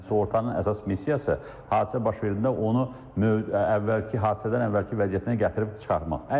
Sığortanın əsas missiyası hadisə baş verdikdə onu əvvəlki hadisədən əvvəlki vəziyyətinə gətirib çıxarmaqdır.